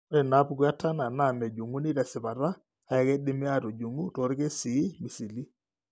Ore inaapuku eTurner naa mejung'uni tesipata, kake keidimi aatujung'u toorkesii misili.